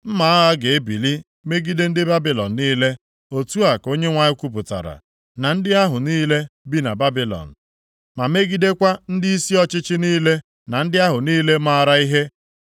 “Mma agha ga-ebili megide ndị Babilọn niile,” otu a ka Onyenwe anyị kwupụtara, “na ndị ahụ niile bi na Babilọn ma megidekwa ndịisi ọchịchị niile na ndị ahụ niile maara ihe.